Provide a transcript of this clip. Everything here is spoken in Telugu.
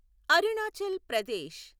అరుణాచల్ ప్రదేశ్